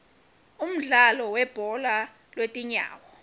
umdlalo webhola lwetinyawo